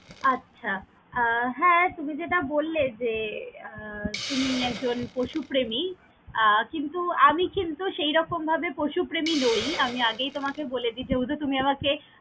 আচ্ছা! আহ হ্যাঁ তুমি যেটা বল্লে যে আহ তুমি একজন পশুপ্রেমী, আহ কিন্তু আমি কিন্তু সেইরকম ভাবে পশুপ্রেমী নই! আমি আগেই তোমাকে বলে দিতে যেহেতু তুমি আমাকে।